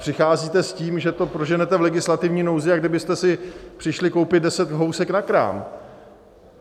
Přicházíte s tím, že to proženete v legislativní nouzi, jako kdybyste si přišli koupit deset housek na krám.